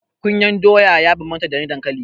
Kunyar doya ya bambanta da na dankali.